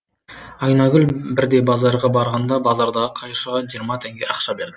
айнагүл бірде базарға барғанда базардағы қайыршыға жиырма теңге ақша берді